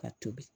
Ka tobi